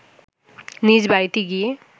নিজ বাড়িতে গিয়ে